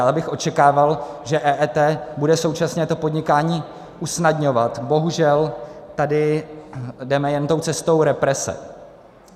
Ale abych očekával, že EET bude současně to podnikání usnadňovat, bohužel tady jdeme jen tou cestou represe.